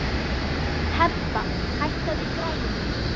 Hebba, hækkaðu í græjunum.